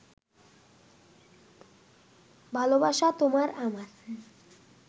ভালোবাসা তোমার আমার